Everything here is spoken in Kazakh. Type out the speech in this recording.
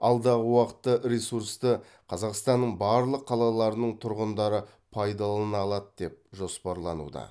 алдағы уақытта ресурсты қазақстанның барлық қалаларының тұрғындары пайдалана алады деп жоспарлануда